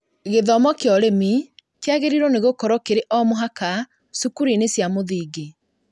Gĩthomo kĩa ũrĩmi kĩagĩrĩirwo nĩ gũkorwo kĩrĩ o mũhaka cukuru-inĩ cia mũthingi